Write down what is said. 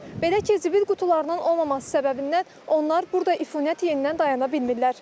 Belə ki, zibil qutularının olmaması səbəbindən onlar burda ifuniyəti yeyindən dayana bilmirlər.